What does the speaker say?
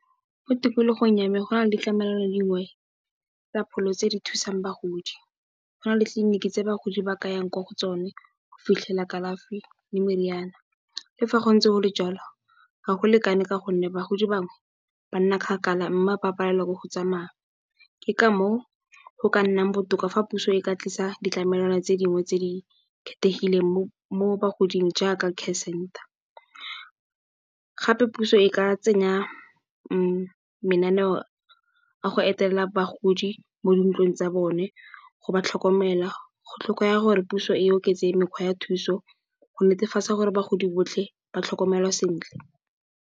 Mo tikologong ya me go na le ditlamelo dingwe tsa pholo tse di thusang bagodi go na le ditliliniki tse bagodi ba ka yang ko go tsone go fitlhela kalafi le meriana. Le fa go ntse go le jalo ga go lekane ka gonne, bagodi bangwe banna kgakala mme, ba palelwa ke go tsamaya ke ka moo, go ka nna botoka fa puso e ka tlisa ditlamelwana tse dingwe tse di kgethegileng mo bagoding jaaka care center. Gape puso e ka tsenya mananeo a go etelela bagodi mo dintlong tsa bone go ba tlhokomela, go tlhokega gore puso e oketse mekgwa ya thuso go netefatsa gore bagodi botlhe ba tlhokomelwa sentle.